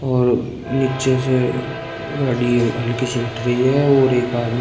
और नीचे से गाड़ी हल्की सी उठ रही है और एक आदमी--